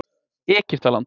Egyptaland